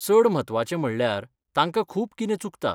चड म्हत्वाचें म्हणल्यार, तांकां खूब कितें चुकता.